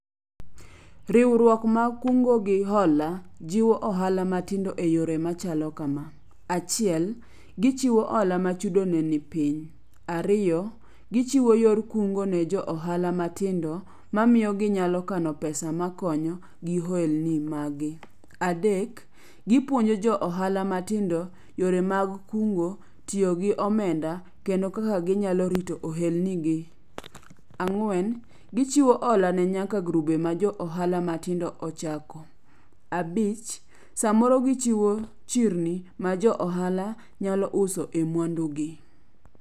Riwruok mag kungo' gi hola, jiwo ohala matindo e yore machalo kama, achiel gichiwo hola ma chudoneni piny, ariyo gichiwo yor kungo' ne johala matindo, mamiyogi ginyalo kano pesa makonyo gi ohelni margi, adek gipuonjo jo ohala matindo yore mag kungo, tiyo gi omenda, kendo kaka ginyalo rito ohendni gi, ang'wen gichiwo hola ne nyaka grube ma jo ohala matindo ochako, abich samoro gichiwo chirni ma jo ohala nyalo uso e mwandugi